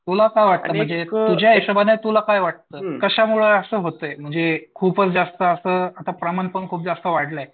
तुला काय वाटलं म्हणजे तुजमच्या हिशोबाने तुला काय वाटलं कशामुळे असं होतंय म्हणजे खूपच जास्त असं आता प्रमाण पण खूपच जास्त वाढलंय.